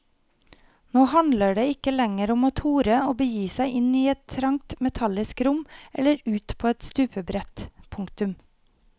Nå handler det ikke lenger om å tore å begi seg inn i et trangt metallisk rom eller ut på et stupebrett. punktum